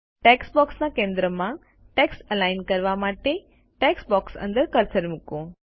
text બોક્સના કેન્દ્રમાં text align કરવા માટે ટેક્સ્ટ બોક્સ અંદર કર્સર મૂકો